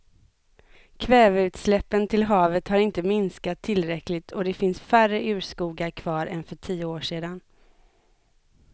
Kväveutsläppen till havet har inte minskat tillräckligt och det finns färre urskogar kvar än för tio år sedan.